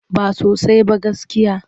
Ba sosai ba gaskiya.